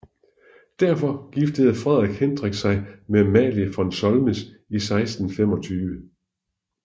Derfor giftede Frederik Hendrik sig med Amalia von Solms i 1625